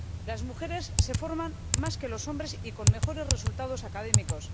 Las mujeres se forman más que los hombres y con mejores resultados académicos.